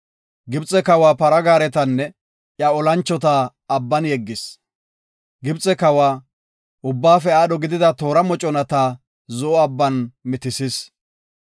Gibxe kawa para gaaretanne iya olanchota Abban yeggis. Gibxe kawa, ubbaafe aadho gidida toora moconata, Zo7o Abban mitisis.